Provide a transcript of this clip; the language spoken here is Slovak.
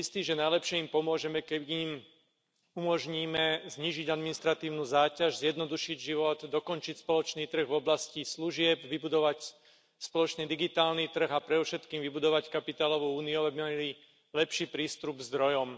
Som si istý, že najlepšie im pomôžeme, keď im umožníme znížiť administratívnu záťaž, zjednodušiť život, dokončiť spoločný trh v oblasti služieb, vybudovať spoločný digitálny trh a predovšetkým vybudovať kapitálovú úniu, aby mali lepší prístup k zdrojom.